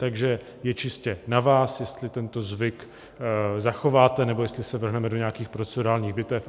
Takže je čistě na vás, jestli tento zvyk zachováte, nebo jestli se vrhneme do nějakých procedurálních bitev.